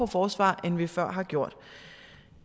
forsvaret end vi før har gjort